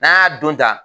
N'an y'a don ta